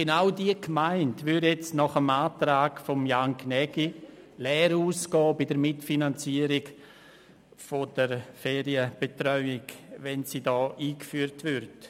Genau diese Gemeinde würde mit dem Antrag von Jan Gnägi bei der Mitfinanzierung der Ferienbetreuung leer ausgehen, wenn sie eingeführt würde.